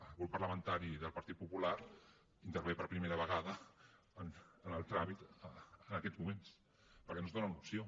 el grup parlamentari del partit popular intervé per primera vegada en el tràmit en aquests moments perquè no ens donen opció